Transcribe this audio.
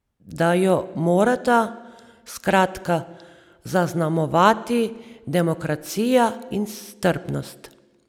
Da jo morata, skratka, zaznamovati demokracija in strpnost.